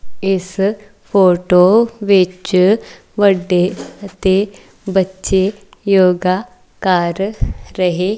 ਇੱਸ ਫ਼ੋਟੋ ਵਿੱਚ ਵੱਡੇ ਅਤੇ ਬੱਚੇ ਯੋਗਾ ਕਰ ਰਹੇ।